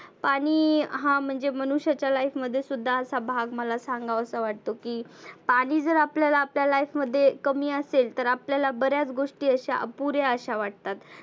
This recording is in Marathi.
आणि हा म्हणजे मनुष्याच्या life मध्ये सुद्धा भाग मला सांगावासा वाटतो की पाणि जर आपल्याला आपल्या life मध्ये कमी असेल तर आपल्याला बऱ्याच गोष्टी अशा अपुऱ्या अशा वाटतात.